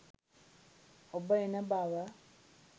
ඔබ එන බව